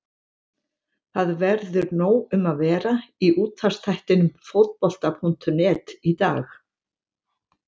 Það verður nóg um að vera í útvarpsþættinum Fótbolta.net í dag.